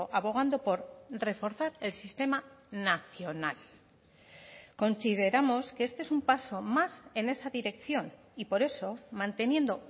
abogando por reforzar el sistema nacional consideramos que este es un paso más en esa dirección y por eso manteniendo